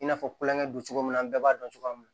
I n'a fɔ kulonkɛ don cogo min na an bɛɛ b'a dɔn cogoya min na